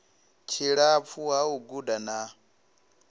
tshilapfu ha u guda ha